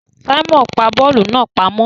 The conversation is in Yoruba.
Simon pá bóòlù náà pàmò